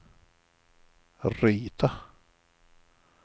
rita